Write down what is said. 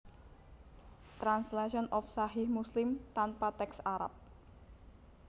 Translation of Sahih Muslim tanpa teks Arab